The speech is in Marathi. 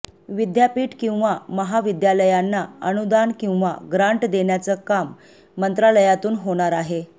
विद्यापीठ किंवा महाविद्यालयांना अनुदान किंवा ग्रांन्ट देण्याचं काम मंत्रालयातून होणार आहे